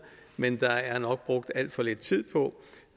men der er nok brugt alt for lidt tid på